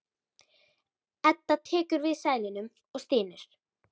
Edda tekur við seðlunum og stynur.